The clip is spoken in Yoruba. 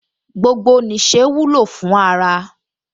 Gbogbo nìṣe wúlò fún ara